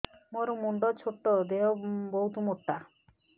ମୋର ମୁଣ୍ଡ ଛୋଟ ଦେହ ବହୁତ ମୋଟା